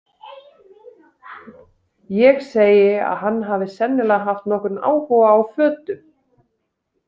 Ég segi að hann hafi sennilega haft nokkurn áhuga á fötum.